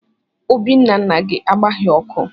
Obì nna nna gị agbaghị ọkụ.